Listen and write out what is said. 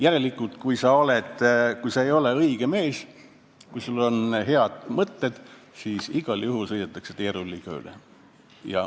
Järelikult, kui sa ei ole õige mees, siis sul võivad olla head mõtted, aga igal juhul sõidetakse sinust teerulliga üle.